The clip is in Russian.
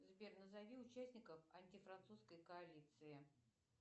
сбер назови участников антифранцузской коалиции